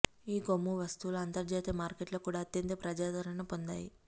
ఈ కొమ్ము వస్తువులు అంతర్జాతీయ మార్కెట్లో కూడా అత్యంత ప్రజాదరణ పొందాయి